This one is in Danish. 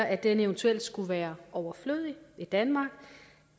at den eventuelt skulle være overflødig i danmark